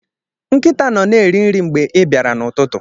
Nkịta nọ na-eri nri mgbe ị bịara n'ụtụtụ